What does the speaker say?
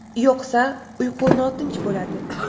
Yo‘qsa, uyqu notinch bo‘ladi.